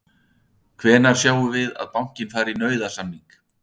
Þorbjörn Þórðarson: Hvenær sjáum við að bankinn fari í nauðasamninga?